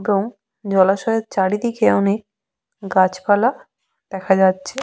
গোউ জলাশয়ের চারিদিকে অনেক গাছপালা দেখা যাচ্ছে।